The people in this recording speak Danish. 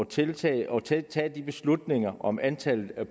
tiltag og tage tage de beslutninger om antallet af